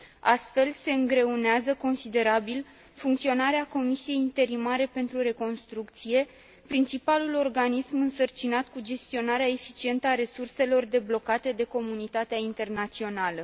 Astfel, se îngreunează considerabil funcționarea Comisiei interimare pentru reconstrucție, principalul organism însărcinat cu gestionarea eficientă a resurselor deblocate de comunitatea internațională.